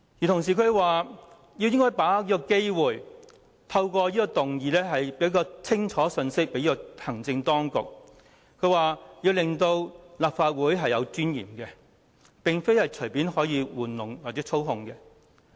他說應該把握機會，透過此項議案，向行政當局發放清楚的信息，顯示立法會有尊嚴，並非可以隨意玩弄或操控。